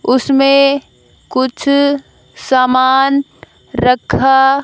उसमें कुछ समान रखा--